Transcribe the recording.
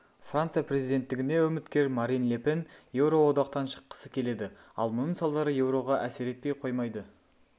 франция президенттігіне үміткер марин ле пен еуроодақтан шыққысы келеді ал мұның салдары еуроға әсер етпей қоймайды